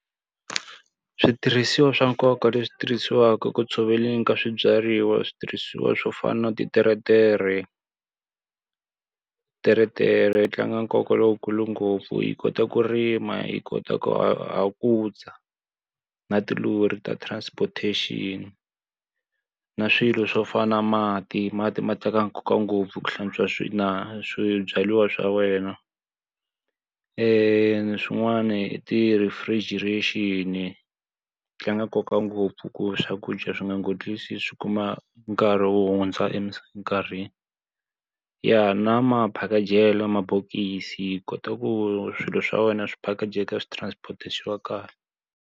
Switirhisiwa swa nkoka leswi tirhisiwaka ku tshoveleni ka swibyariwa i switirhisiwa swo fana na titeretere. Teretere yi tlanga nkoka lowukulu ngopfu yi kota ku rima, yi kota ku hakuza, na tilori ta transportation. Na swilo swo fana na mati, mati ma teka nkoka ngopfu ku hlantswa na swibyariwa swa wena. Swin'wana i ti-refrigeration-i, tlanga nkoka ngopfu ku swakudya swi nga nghotlisi swi kuma nkarhi wo hundza nkarhi. Ya na maphakejelo mabokisi hi kota ku swilo swa wena swi phakejeka swi transport-iwa swi va kahle.